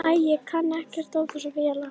Æ, ég kann ekkert á þessar vélar.